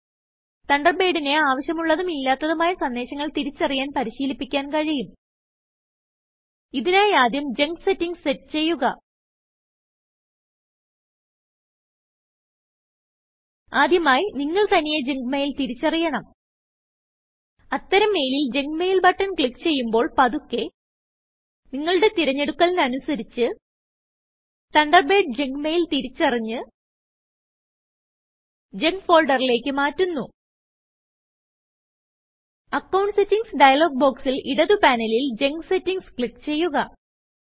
തണ്ടർബേഡിനെ ആവിശ്യമുള്ളതും ഇല്ലാത്തതും ആയ സന്ദേശങ്ങൾ തിരിച്ചറിയാൻ പരിശിലിപ്പിക്കാൻ കഴിയും ഇതിനായി ആദ്യം ജങ്ക് Settingsസെറ്റ് ചെയ്യുക ആദ്യമായി നിങ്ങൾ തനിയെ ജങ്ക് മെയിൽ തിരിച്ചറിയണം അത്തരം മെയിലിൽ ജങ്ക് മെയിൽ ബട്ടൺ ക്ലിക്ക് ചെയ്യുമ്പോൾ പതുക്കെ നിങ്ങളുടെ തിരഞ്ഞെടുക്കലിന് അനുസരിച്ച് തണ്ടർബേഡ് ജങ്ക് mailതിരിച്ചറിഞ്ഞ് ജങ്ക് folderലേക്ക് മാറ്റുന്നു അക്കൌണ്ട് Settingsഡയലോഗ് ബോക്സിൽ ഇടത് പാനലിൽ ജങ്ക് Settingsക്ലിക്ക് ചെയ്യുക